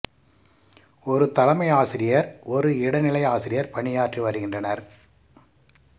ஒரு தலைமை ஆசிரியர் ஒரு இடைநிலை ஆசிரியர் பணியாற்றி வருகின்றனர்